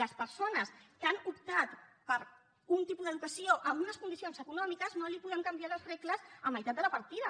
a les persones que han optat per un tipus d’educació amb unes condicions econòmiques no els podem canviar les regles a meitat de la partida